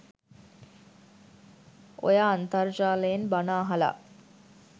ඔය අන්තර්ජාලයෙන් බණ අහලා